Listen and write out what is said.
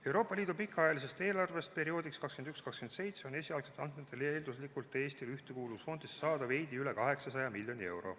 Euroopa Liidu pikaajalisest eelarvest perioodiks 2021–2027 on esialgsetel andmetel eelduslikult Eestil Ühtekuuluvusfondist saada veidi üle 800 miljoni euro.